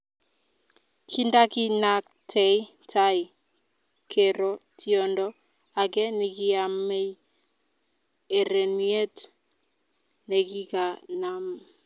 Kindakinakte tai, kero tiondo ake nikiamei ereniet nekikanam